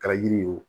Kɛra yiri ye o